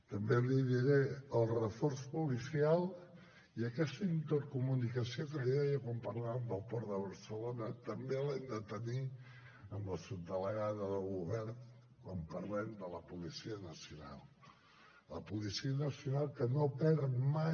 també l’hi diré el reforç policial i aquesta intercomunicació que li deia quan parlàvem del port de barcelona també l’hem de tenir amb la subdelegada del govern quan parlem de la policia nacional la policia nacional que no perd mai